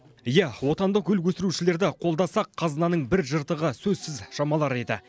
иә отандық гүл өсірушілерді қолдасақ қазынаның бір жыртығы сөзсіз жамалар еді